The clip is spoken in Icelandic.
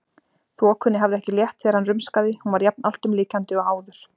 Þokunni hafði ekki létt þegar hann rumskaði, hún var jafn alltumlykjandi og áður.